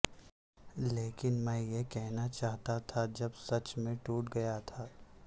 لیکن میں یہ کہنا چاہتا تھا جب سچ میں ٹوٹ گیا تھا